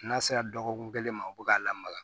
N'a sera dɔgɔkun kelen ma o bi k'a lamaga